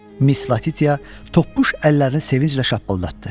Mis Latitya topuş əllərini sevinclə şappıldatdı.